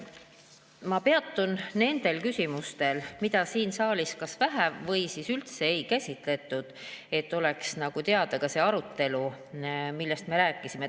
Ma peatun nendel küsimustel, mida siin saalis kas vähe või üldse ei käsitletud, et oleks teada ka see, millest me rääkisime.